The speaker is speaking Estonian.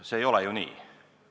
See ei ole ju nii.